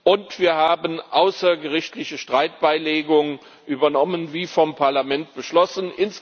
Und wir haben außergerichtliche Streitbeilegung übernommen, wie vom Parlament beschlossen.